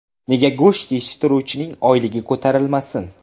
Nega go‘sht yetishtiruvchining oyligi ko‘tarilmasin?